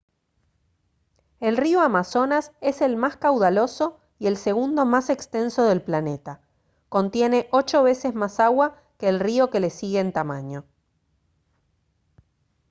el río amazonas es el más caudaloso y el segundo más extenso del planeta contiene 8 veces más agua que el río que le sigue en tamaño